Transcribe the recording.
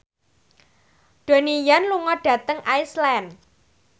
Donnie Yan lunga dhateng Iceland